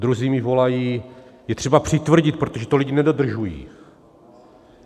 Druzí mi volají: je třeba přitvrdit, protože to lidi nedodržují.